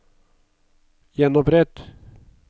gjenopprett